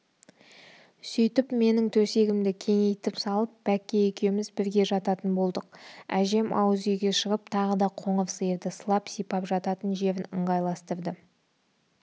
сөйтіп менің төсегімді кеңейтіп салып бәкке екеуміз бірге жататын болдық әжем ауыз үйге шығып тағы да қоңыр сиырды сылап-сипап жататын жерін ыңғайластырды